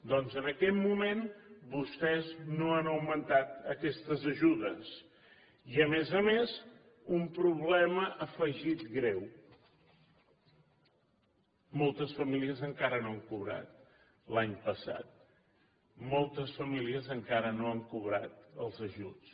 doncs en aquest moment vostès no han augmentat aquestes ajudes i a més a més un problema afegit greu moltes famílies encara no han cobrat l’any passat moltes famílies encara no han cobrat els ajuts